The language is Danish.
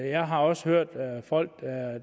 jeg har også hørt folk